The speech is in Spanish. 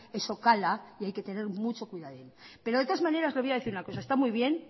eso cala y hay que tener mucho cuidado de todas maneras le voy a decir una cosa está